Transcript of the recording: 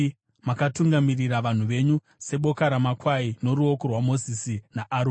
Makatungamirira vanhu venyu seboka ramakwai noruoko rwaMozisi naAroni.